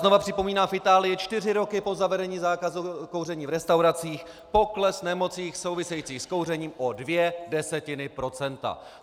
Znovu připomínám, v Itálii čtyři roky po zavedení zákazu kouření v restauracích pokles nemocí souvisejících s kouřením o dvě desetiny procenta.